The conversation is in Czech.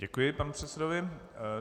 Děkuji panu předsedovi.